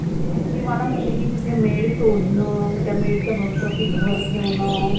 ती मला म्हणते की तिथे maid शोधनं मग त्या maid च्या भरोश्यावर घर ठेवनं.